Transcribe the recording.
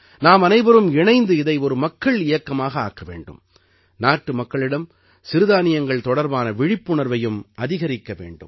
நாம் அனைவரும் இணைந்து இதை ஒரு மக்கள் இயக்கமாக ஆக்க வேண்டும் நாட்டு மக்களிடம் சிறுதானியங்கள் தொடர்பான விழிப்புணர்வையும் அதிகரிக்க வேண்டும்